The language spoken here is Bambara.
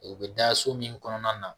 U bɛ da so min kɔnɔna na